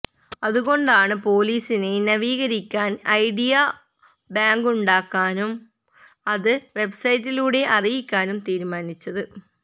അതുകൊണ്ടാണ് പോലിസിനെ നവീകരിക്കാന് ഐഡിയ ബാങ്കുണ്ടാക്കാനും അത് വെബ്സൈറ്റിലൂടെ അറിയിക്കാനും തീരുമാനിച്ചത്